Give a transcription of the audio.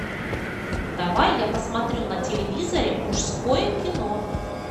давай я посмотрю на телевизоре мужское кино